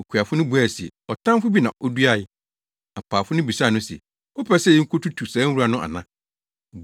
“Okuafo no buae se, ‘Ɔtamfo bi na oduae!’ “Apaafo no bisaa no se, ‘Wopɛ sɛ yekotutu saa nwura no ana?’